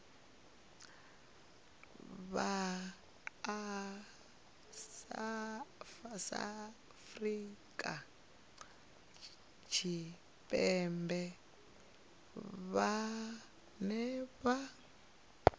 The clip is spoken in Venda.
vha afrika tshipembe vhane vha